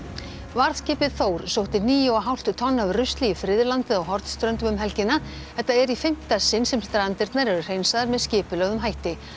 varðskipið Þór sótti níu og hálft tonn af rusli í friðlandið á Hornströndum um helgina þetta er í fimmta sinn sem strandirnar eru hreinsaðar með skipulögðum hætti